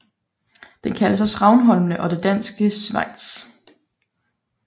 Den kaldes også Ravnholmene og Det Danske Schweiz